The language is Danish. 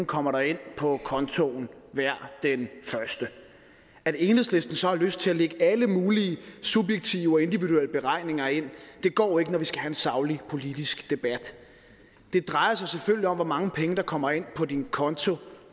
kommer ind på kontoen hver den første at enhedslisten så har lyst til at lægge alle mulige subjektive og individuelle beregninger ind går ikke når vi skal have en saglig politisk debat det drejer sig selvfølgelig om hvor mange penge der kommer ind på din konto